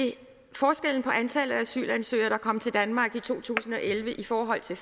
forskellen på antallet af asylansøgere der kom til danmark i to tusind og elleve i forhold til